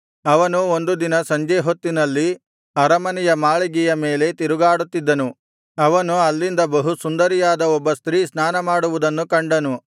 ಅವನು ಒಂದು ದಿನ ಸಂಜೆ ಹೊತ್ತಿನಲ್ಲಿ ಅರಮನೆಯ ಮಾಳಿಗೆಯ ಮೇಲೆ ತಿರುಗಾಡುತ್ತಿದ್ದನು ಅವನು ಅಲ್ಲಿಂದ ಬಹು ಸುಂದರಿಯಾದ ಒಬ್ಬ ಸ್ತ್ರೀ ಸ್ನಾನಮಾಡುವುದನ್ನು ಕಂಡನು